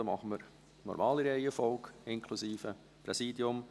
Für die Voten gehen wir der normalen Reihenfolge nach, inklusive Präsidium.